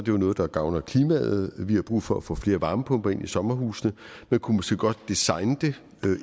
jo noget der gavner klimaet vi har brug for at få flere varmepumper ind i sommerhusene men kunne måske godt designe det